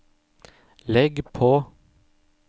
legg på